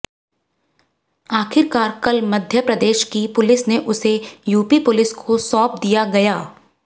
आखिरकार कल मध्य प्रदेश की पुलिस ने उसे यूपी पुलिस को सौंप दिया गया